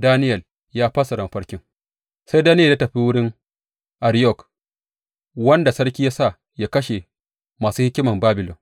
Daniyel ya fassara mafarkin Sai Daniyel ya tafi wurin Ariyok, wanda sarki ya sa yă kashe masu hikiman Babilon,